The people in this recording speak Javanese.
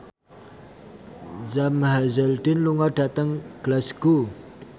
Sam Hazeldine lunga dhateng Glasgow